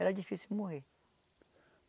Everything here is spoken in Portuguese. Era difícil morrer.